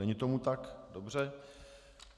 Není tomu tak, dobře.